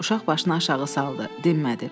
Uşaq başını aşağı saldı, dinmədi.